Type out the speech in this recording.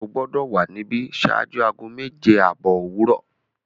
O gbọdọ wa níbí ṣáájú aago mẹ́je-abọ̀ owurọ!